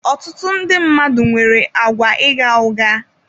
Ọtụtụ ndị mmadụ nwere àgwà igha ụgha.